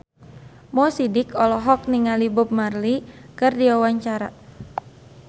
Mo Sidik olohok ningali Bob Marley keur diwawancara